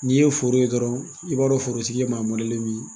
N'i ye foro ye dɔrɔn i b'a dɔn forotigi ye maa min ye.